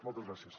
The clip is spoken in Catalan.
moltes gràcies